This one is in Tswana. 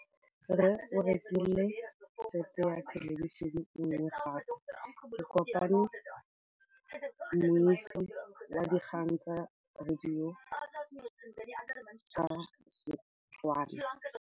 Rre o rekile sete ya thêlêbišênê e nngwe gape. Ke kopane mmuisi w dikgang tsa radio tsa Setswana.